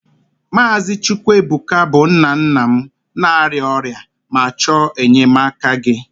Maazị Chukwuebuka bụ nna nna m na-arịa ọrịa ma chọọ enyemaka gị